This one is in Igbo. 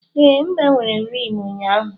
Ee, m gbanwere rim ụnyaahụ.